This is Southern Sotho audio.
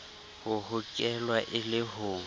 ho hokelwa e le ho